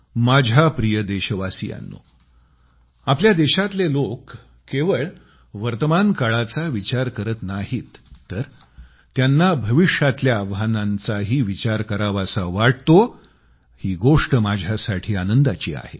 माझ्या प्रिय देशवासियांनो आपल्या देशातले लोक केवळ वर्तमान काळाचा विचार करत नाहीत तर त्यांना भविष्यातल्या आव्हानांचाही विचार करावासा वाटतो ही गोष्ट माझ्यासाठी आनंदाची आहे